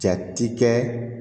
Jate kɛ